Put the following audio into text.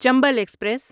Chambal express